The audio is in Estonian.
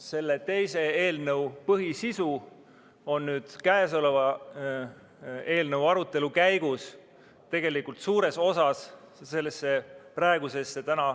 Selle teise eelnõu põhisisu on nüüd kõnealuse eelnõu arutelu käigus tegelikult suures osas sellesse praegusesse, täna